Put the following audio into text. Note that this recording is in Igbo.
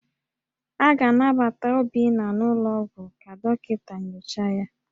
A ga-anabata Obinna n'ụlọọgwụ ka dọkịta nyochaa ya